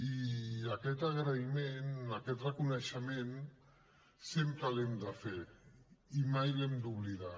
i aquest agraïment aquest reconeixement sempre l’hem de fer i mai l’hem d’oblidar